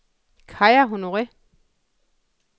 Kaja Honore